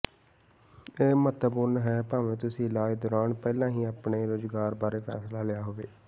ਇਹ ਮਹੱਤਵਪੂਰਨ ਹੈ ਭਾਵੇਂ ਤੁਸੀਂ ਇਲਾਜ ਦੌਰਾਨ ਪਹਿਲਾਂ ਹੀ ਆਪਣੇ ਰੁਜ਼ਗਾਰ ਬਾਰੇ ਫੈਸਲਾ ਲਿਆ ਹੋਵੇ